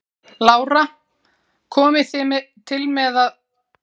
Lára: Komið þið til með að hætta eftir þetta?